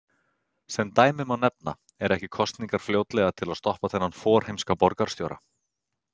Sem dæmi má nefna: Eru ekki kosningar fljótlega til að stoppa þennan forheimska borgarstjóra?